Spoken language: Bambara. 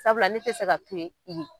Sabula ne tɛ fɛ ka to ye.